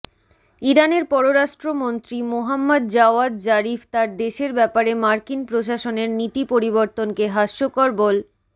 ইরানের পররাষ্ট্রমন্ত্রী Mohammad Javad Zarif তার দেশের ব্যাপারে মার্কিন প্রশাসনের নীতি পরিবর্তনকে হাস্যকর বল